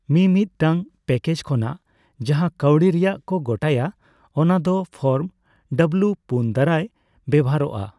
ᱢᱤ ᱢᱤᱫ ᱴᱟᱝ ᱯᱮᱪᱮᱠ ᱠᱷᱚᱱᱟᱜ ᱡᱟᱸᱦᱟ ᱠᱟᱹᱣᱰᱤ ᱨᱮᱭᱟᱜ ᱠᱚ ᱜᱚᱴᱟᱭᱟ ᱚᱱᱟ ᱫᱚ ᱯᱷᱚᱨᱢ ᱰᱚᱵᱽᱞᱤᱭᱩ ᱼᱯᱩᱱ ᱫᱟᱨᱟᱭ ᱵᱮᱣᱦᱟᱨᱚᱜᱼᱟ ᱾